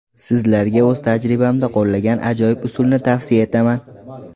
Sizlarga o‘z tajribamda qo‘llagan ajoyib usulni tavsiya etaman.